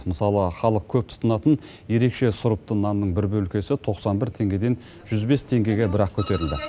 мысалы халық көп тұтынатын ерекше сұрыпты нанның бір бөлкесі тоқсан бір теңгеден жүз бес теңгеге бірақ көтерілді